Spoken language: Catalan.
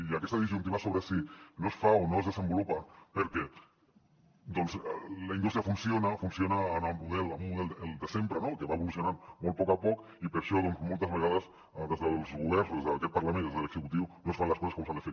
i aquesta disjuntiva sobre si no es fa o no es desenvolupa perquè doncs la indústria funciona funciona amb un model el de sempre no que va evolucionant molt poc a poc i per això moltes vegades des dels governs o des d’aquest parlament o des de l’executiu no es fan les coses com s’han de fer